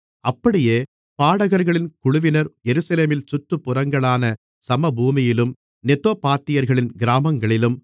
அப்படியே பாடகர்களின் குழுவினர் எருசலேமின் சுற்றுப்புறங்களான சமபூமியிலும் நெத்தோபாத்தியர்களின் கிராமங்களிலும்